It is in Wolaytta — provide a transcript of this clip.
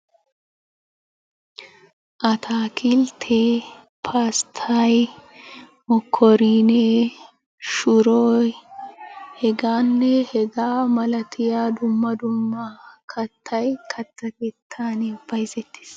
Ataakilttee, pasttay, mokkoriinee, shuroy, hegaanne hagaa milatiya dumma dummabay katta keettaani bayzettees.